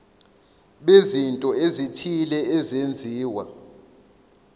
bezinto ezithile ezenziwa